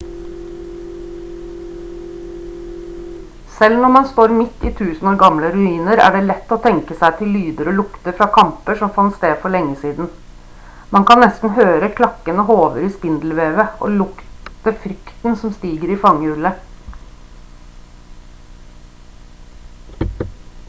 selv når man står midt i tusen år gamle ruiner er det lett å tenke seg til lyder og lukter fra kamper som fant sted for lenge siden man kan nesten høre klakkende hover i spindelvevet og lukte frykten som stiger i fangehullet